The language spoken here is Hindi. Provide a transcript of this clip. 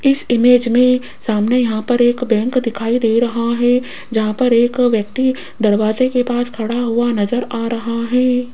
इस इमेज में सामने यहां पर एक बैंक दिखाई दे रहा है जहां पर एक व्यक्ति दरवाजे के पास खड़ा हुआ नजर आ रहा है।